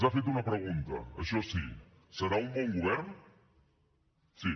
ha fet una pregunta això sí serà un bon govern sí